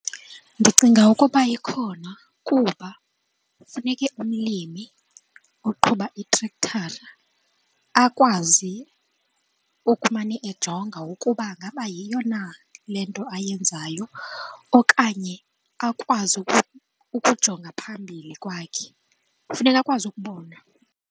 Ndicinga ukuba ikhona kuba funeke umlimi oqhuba itrektara akwazi ukumane ejonga ukuba ngaba yiyo na le nto ayenzayo okanye akwazi ukujonga phambili kwakhe, kufuneka akwazi ukubona.